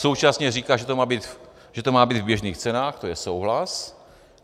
Současně říká, že to má být v běžných cenách, to je souhlas.